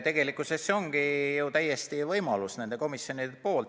Tegelikkuses see ongi ka selles komisjonis täiesti võimalik.